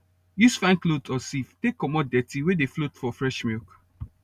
use fine cloth or sieve take comot dirty wey dey float for fresh milk